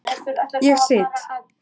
Ég sit.